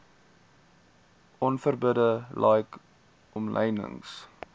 onverbidde like omlynings